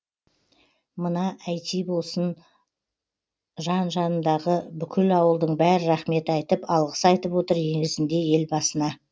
мына әйти болсын жан жанындағы бүкіл ауылдың бәрі рахмет айтып алғыс айтып отыр негізінде елбасына